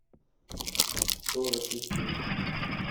сторож ищи